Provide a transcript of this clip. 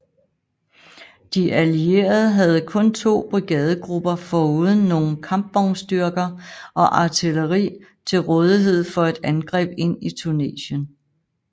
De allierede havde kun to brigadegrupper foruden nogle kampvognsstyrker og artilleri til rådighed for et angreb ind i Tunesien